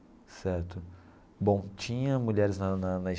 Certo bom tinha mulheres na na na.